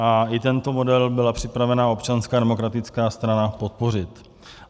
A i tento model byla připravena Občanská demokratická strana podpořit.